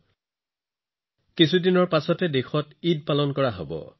অহা কেইটামান দিনৰ ভিতৰত দেশত ঈদো পালন কৰা হব